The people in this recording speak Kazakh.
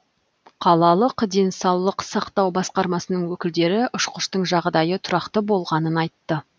қалалық денсаулық сақтау басқармасының өкілдері ұшқыштың жағдайы тұрақты болғанын айтты